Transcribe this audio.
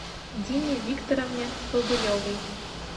дине викторовне бобылевой